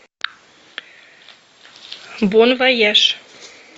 бон вояж